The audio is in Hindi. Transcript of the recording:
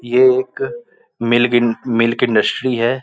ये एक पर मिलगीन मिल्क इंडस्ट्री है।